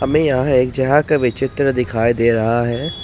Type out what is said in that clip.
हमें यहां एक जगह का भी चित्र दिखाई दे रहा है।